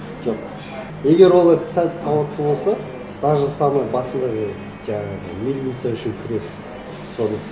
жоқ егер олар сәл сауатты болса даже самый басындағы жаңағы мельница үшін күрес соны